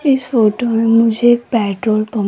इस फोटो में मुझे ये पेट्रोल पं--